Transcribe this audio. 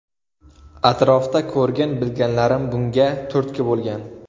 Atrofda ko‘rgan-bilganlarim bunga turtki bo‘lgan.